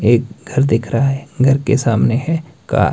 एक घर दिख रहा है घर के सामने है का--